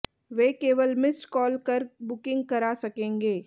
वे केवल missed call कर booking करा सकेंगे